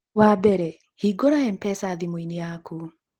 Wa mbere, hingũra M-pesa thimũ-inĩ yaku.